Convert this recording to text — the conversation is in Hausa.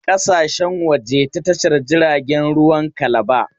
Ana fita da kaya ƙasashen waje ta Tashar jiragen ruwan Kalaba.